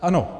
Ano.